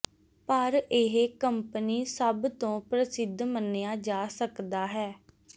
ਪਰ ਇਹ ਕੰਪਨੀ ਸਭ ਤੋ ਪ੍ਰਸਿੱਧ ਮੰਨਿਆ ਜਾ ਸਕਦਾ ਹੈ